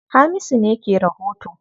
Hamisu ne ke rahoto.